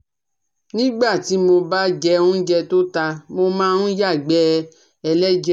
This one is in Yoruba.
Nígbà tí mo bá jẹ óúnjẹ tó ta, mo máa ń yàgbẹ́ ẹlẹ́jẹ̀